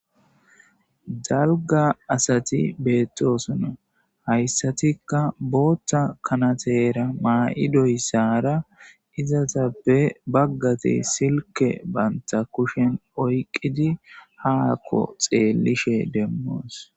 Dalga asati beettosona hayssatikka bootta kanateera maa'idoyssara izaza be baggate silke banta kushen oyqqidi haakko xeellishe demmoos.